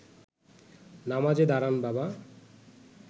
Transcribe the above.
নামাজে দাঁড়ান বাবা